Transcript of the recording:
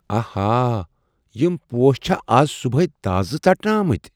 آہا! یم پوش چھا از صبحٲے تازٕ ژٹنہٕ آمٕتۍ؟